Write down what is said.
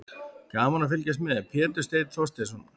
Gaman að fylgjast með: Pétur Steinn Þorsteinsson.